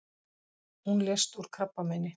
Hún lést úr krabbameini.